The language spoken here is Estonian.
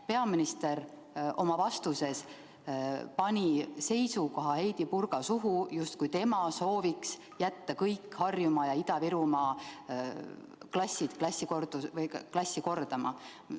Peaminister pani oma vastuses pani Heidy Purga suhu seisukoha, justkui tema soovib jätta kõik Harjumaa ja Ida-Virumaa klassid klassi kordama.